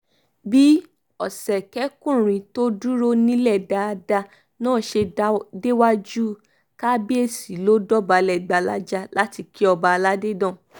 bí ọ̀sẹ̀kẹ̀kùnrin tó dúró nílẹ̀ dáadáa náà ṣe déwájú kábíyèsí ló dọ̀bálẹ̀ gbalaja láti kí ọba aládé náà